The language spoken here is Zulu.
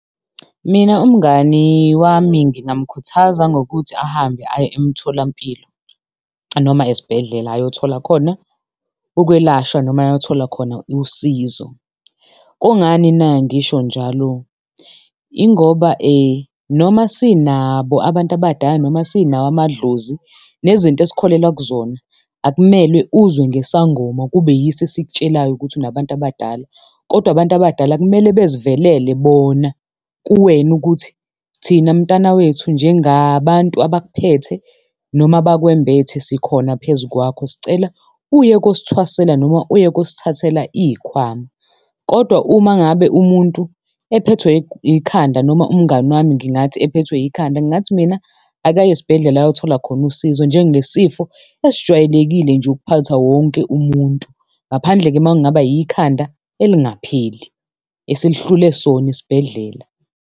Mina umngani wami ngingamukhuthaza ngokuthi ahambe aye emtholampilo noma esibhedlela ayothola khona ukwelashwa, noma ayothola khona usizo. Kungani na ngisho njalo? Ingoba noma sinabo abantu abadala noma sinawo amadlozi nezinto esikholelwa kuzona akumele uzwe ngesangoma kube yiso esikutshelayo ukuthi unabantu abadala, kodwa abantu abadala kumele bezivelele bona kuwena ukuthi thina mntana wethu njengabantu abakuphethe noma abakwembethe sikhona phezu kwakho sicela uye kosithwasela noma uyekosithathela izikhwama. Kodwa uma ngabe umuntu ephethwe ikhanda noma umngani wami ngingathi ephethwe ikhanda, ngingathi mina akaye esibhedlela oyothola khona usizo njengesifo esijwayelekile nje ukuphatha wonke umuntu ngaphandle-ke uma ngabe ikhanda elingapheli eselihlule sona esibhedlela.